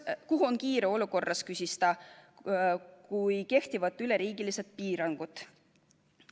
Kuhu on kiire olukorras, küsis ta, kui kehtivad üleriigilised piirangud.